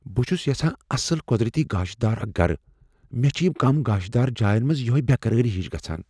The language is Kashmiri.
"بہٕ چھس یژھان اصل قدرتی گاشہٕ دار اکھ گرٕ مےٚ چھ کم گاشہٕ دار جاین منز یٔہے بےٚ قرٲری ہِش گژھان"۔